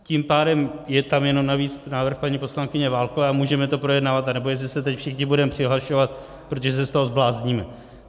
Tím pádem je tam jenom navíc návrh paní poslankyně Válkové a můžeme to projednávat, anebo jestli se teď všichni budeme přihlašovat, protože se z toho zblázníme.